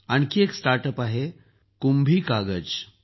आणखी एक startup आहे कुंभी कागज